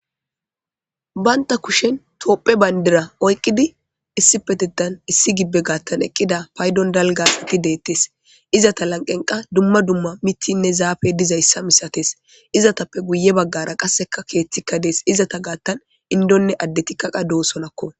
baynta kushen topphe bayndira oyqqidi issipe diddan issi gibbe gaattan eqqida paydon dalgasiti deettes izata lanqenqa dumma dumma mittinne zaafe dizayssa misates izatappe guye baggara qasseka keeththikka dees izata gaattan indonne addetikkaqa doosolakko